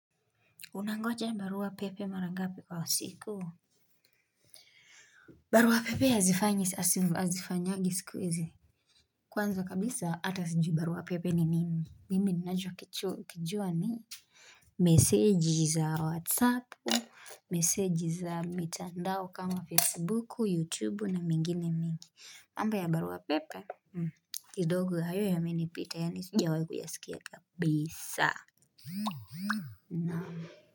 Unangoja barua pepe mara ngapi kwa siku? Barua pepe hazifanyangi siku hizi Kwanza kabisa hata sijui barua pepe ni nini mimi ninacho kijua ni meseji za whatsappu, meseji za mitandao kama facebooku, youtubeu na mengine mengi, mambo ya barua pepe kidogo hayo yamenipita yaani sijawahi kuyasikia kabisa Naam.